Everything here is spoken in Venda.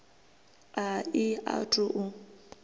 a i a thu u